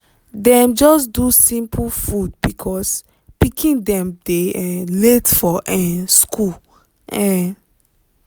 dem just do simple food because pikin dem dey um late for um school. um